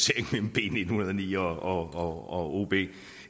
uenige og og det